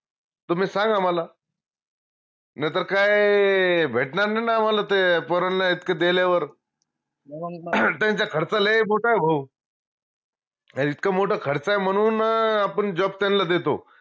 तुम्ही सांगा मला नाई तर काय भेटनार नाई न आम्हाला ते पोरांना इतकं देल्यावर त्यांचा खर्च लय बोत ए भाऊ हे इतकं मोठं खर्च आहे म्हनून अं आपन job त्यांला देतो